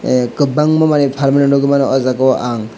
a kwbangma manui pbalmani nogui mano o jaga o ang.